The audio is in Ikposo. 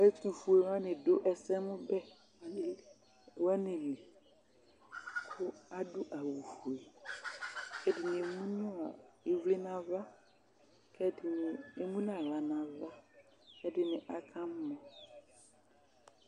Ɛtʋfʋe ni wani dʋ ɛsɛmʋbɛ nʋ alili kʋ adʋ awʋfʋe kʋ ɛdini emʋnʋ ivli nʋ ava kʋ ɛdini emʋ nʋ aɣla nʋ ava kʋ ɛdini aka mɔ